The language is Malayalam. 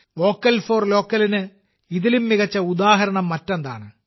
വോക്കൽ ഫോർ ലോക്കലിന് ഇതിലും മികച്ച ഉദാഹരണം മറ്റെന്താണ്